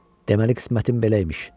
Deməli qismətim belə imiş.